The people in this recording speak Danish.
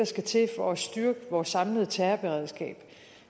skal til for at styrke vores samlede terrorberedskab